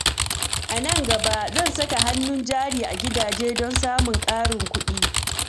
A nan gaba, zan saka hannun jari a gidaje don samun ƙarin kuɗi.